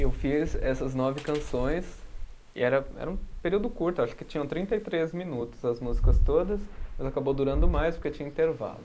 Eu fiz essas nove canções e era, era um período curto, eu acho que tinham trinta e três minutos as músicas todas, mas acabou durando mais porque tinha intervalo.